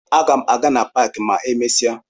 Aga m aga na paakị ma emesịa